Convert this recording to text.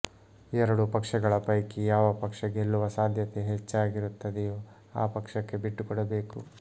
ಎರಡೂ ಪಕ್ಷಗಳ ಪೈಕಿ ಯಾವ ಪಕ್ಷ ಗೆಲ್ಲುವ ಸಾಧ್ಯತೆ ಹೆಚ್ಚಾಗಿರುತ್ತದೆಯೋ ಆ ಪಕ್ಷಕ್ಕೆ ಬಿಟ್ಟುಕೊಡಬೇಕು